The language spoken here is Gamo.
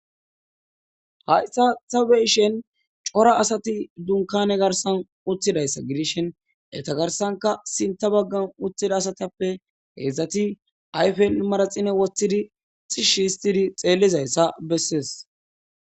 Hayssan tabe7ishin cora asati dunkaane garssan uttidayssa gidishin enta garssankka sitta baggara uttidaytappe heedzdzati ayfen bollan manaxxire wothidi tishshi oothidi xeellizayssa bessees.